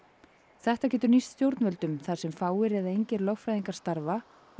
þetta getur nýst stjórnvöldum þar sem fáir eða engir lögfræðingar starfa og